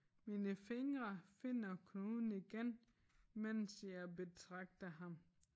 Mine fingre finder knuden igen mens jeg betragter ham